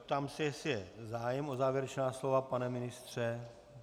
Ptám se, jestli je zájem o závěrečná slova - pane ministře?